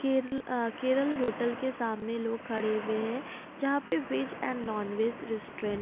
केरल अ केरल होटल के सामने लोग खड़े हुए है जहां पे veg and non veg restaurant --